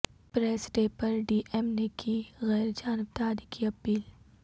press day پر D M نےکی غیر جانبداری کی اپیل